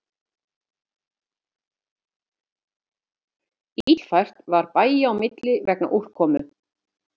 Illfært var bæja á milli vegna úrkomu